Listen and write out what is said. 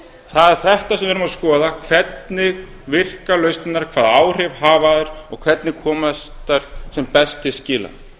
er þetta sem við verðum að skoða hvernig virka lausnirnar hvaða áhrif hafa þær og hvernig komast þær sem best til skila